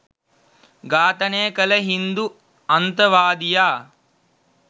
ඝාතනය කළ හින්දු අන්තවාදියා